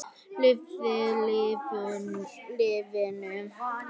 Lifðu lífinu.